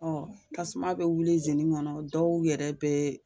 Ɔ tasuma be wuli izini kɔnɔ dɔw yɛrɛ bɛ